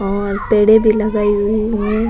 और पेड़े भी लगाई हुई है।